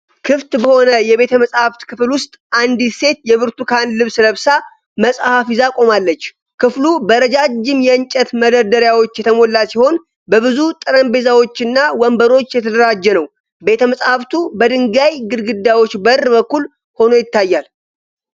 ክፍት በሆነ የቤተ-መጻሕፍት ክፍል ውስጥ አንዲት ሴት የብርቱካን ልብስ ለብሳ መጽሐፍ ይዛ ቆማለች። ክፍሉ በረጃጅም የእንጨት መደርደሪያዎች የተሞላ ሲሆን፣ በብዙ ጠረጴዛዎችና ወንበሮች የተደራጀ ነው። ቤተ-መጻሕፍቱ በድንጋይ ግድግዳዎች በር በኩል ሆኖ ይታያል።